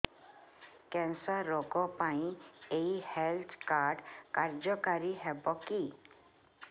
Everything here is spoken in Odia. କ୍ୟାନ୍ସର ରୋଗ ପାଇଁ ଏଇ ହେଲ୍ଥ କାର୍ଡ କାର୍ଯ୍ୟକାରି ହେବ କି